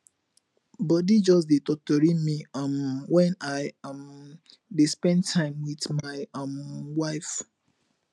body just dey totori me um wen i um dey spend time with my um wife